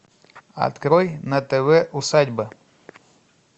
открой на тв усадьба